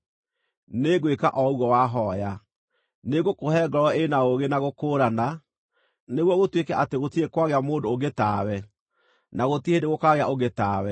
nĩngwĩka o ũguo wahooya. Nĩngũkũhe ngoro ĩ na ũũgĩ na gũkũũrana, nĩguo gũtuĩke atĩ gũtirĩ kwagĩa mũndũ ũngĩ tawe, na gũtirĩ hĩndĩ gũkaagĩa ũngĩ tawe.